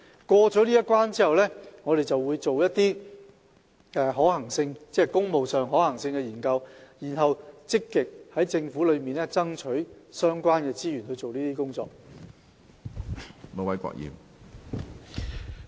過了這關，我們便會進行工務工程的可行性研究，然後積極向政府爭取資源以進行相關工作。